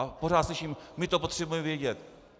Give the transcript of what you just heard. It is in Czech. A pořád slyším: My to potřebujeme vědět.